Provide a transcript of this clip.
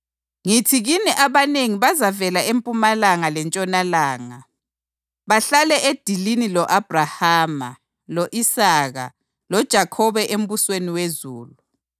Ngithi kini abanengi bazavela empumalanga lentshonalanga, bahlale edilini lo-Abhrahama, lo-Isaka loJakhobe embusweni wezulu.